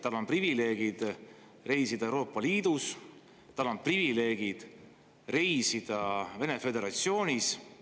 Tal on privileeg reisida Euroopa Liidus, tal on privileeg reisida Vene föderatsioonis.